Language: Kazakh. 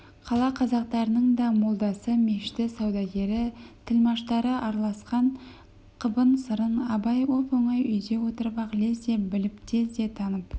қала қазақтарының да молдасы мешіті саудагері тілмаштары араласқан қыбын-сырын абай оп-оңай үйде отырып-ақ лезде біліп тез де танып